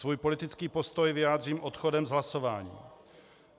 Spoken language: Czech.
Svůj politický postoj vyjádřím odchodem z hlasování.